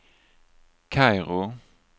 Kairo